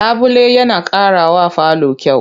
Labule yana ƙarawa falo kyau.